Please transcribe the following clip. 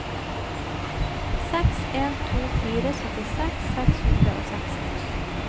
seks en to fire syttiseks seks hundre og seksti